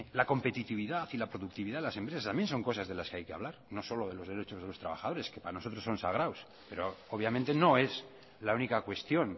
la competitividad y la productividad de las empresas también son cosas de las que hay que hablar no solo de los derechos de los trabajadores que para nosotros son sagrados pero obviamente no es la única cuestión